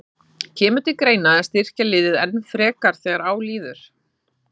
Kemur til greina að styrkja liðið enn frekar þegar á líður?